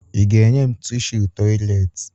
Ị ga-enye m tishu tọyịleetị?